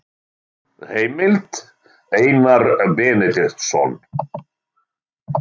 Heimild: Einar Benediktsson.